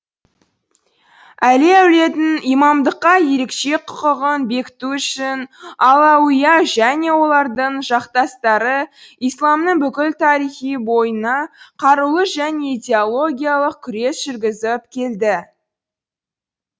әли әулетінің имамдыққа ерекше құқығын бекіту үшін алауийа және олардың жақтастары исламның бүкіл тарихы бойына қарулы және идеологиялық күрес жүргізіп келді